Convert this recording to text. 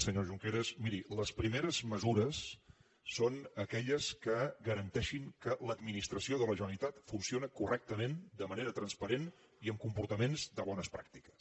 senyor junqueras miri les primeres mesures són aquelles que garanteixin que l’administració de la generalitat funciona correctament de manera transparent i amb comportaments de bones pràctiques